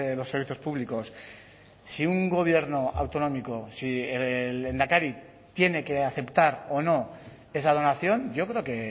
los servicios públicos si un gobierno autonómico si el lehendakari tiene que aceptar o no esa donación yo creo que